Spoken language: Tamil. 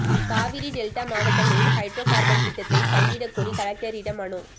காவிரி டெல்டா மாவட்டங்களில் ஹைட்ரோ கார்பன் திட்டத்தை கைவிடக்கோரி கலெக்டரிடம் மனு